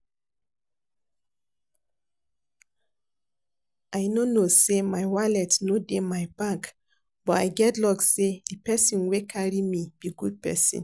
I no know say my wallet no dey my bag but I get luck say the person wey carry me be good person